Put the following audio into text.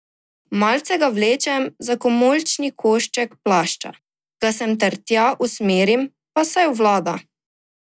Malce ga vlečem za komolčni košček plašča, ga sem ter tja usmerim, pa saj obvlada.